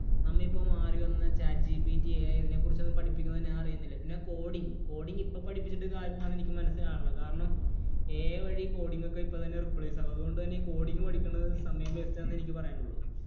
നമ്മുടെ ഇപ്പോൾ മാറിവന്ന chat GPT, AI ഇതിനെക്കുറിച്ചൊന്നും പഠിപ്പിക്കുന്നത് ഞാൻ അറിയുന്നില്ല. പിന്നെ coding. Coding. ഇപ്പോൾ പഠിപ്പിച്ചിട്ട് കാര്യമെന്താന്ന് എനിക്ക് മനസ്സിലാകണില്ല. കാരണം AI വഴി coding ഒക്കെ ഇപ്പോൾ തന്നെ replace ആകും. അതുകൊണ്ടുതന്നെ coding പഠിക്കുന്നത് സമയം വെറുതെ waste ആണെന്നേ എനിക്ക് പറയാനുള്ളൂ.